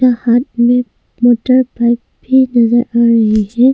यहां हमें motorbike भी नजर आ रही है।